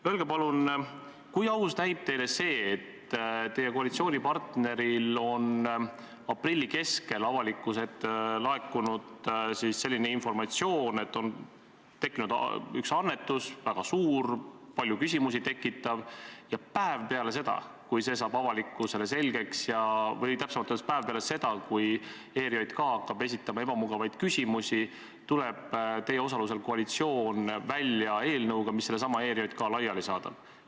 Öelge palun, kui aus näib teile see, et teie koalitsioonipartneril on tekkinud üks annetus, väga suur, palju küsimusi tekitav, ja päev peale seda, kui see saab avalikkusele selgeks või täpsemalt öeldes päev peale seda, kui ERJK hakkab esitama ebamugavaid küsimusi, tuleb teie osalusel koalitsioon välja eelnõuga, mis sellesama ERJK laiali saadab.